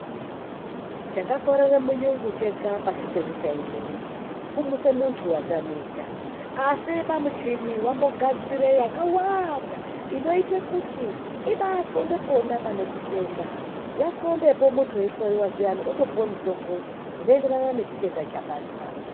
Chaka korere mu yungu chega pashi penyika ineyi kumuse muntu watamika asi pa muchini vambo gadzire waka wanda ino ite kuti ibai ndxonde pona pane chitenda ya ndxonde po muntu eyi hloyiwa zviyani woto puwe mutombo uno enderana ne chitenda chabatwa.